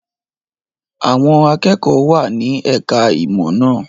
Àwọn akẹ́kọ̀ọ́ wà ní ẹ̀ka-ìmọ̀ náà.